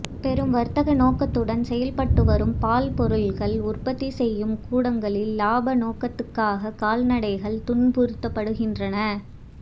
பெரும் வர்த்தக நோக்கத்துடன் செயல்பட்டுவரும் பால் பொருள்கள் உற்பத்தி செய்யும் கூடங்களில் லாபநோக்கத்துக்காகக் கால்நடைகள் துன்புறுத்தப்படுகின்றன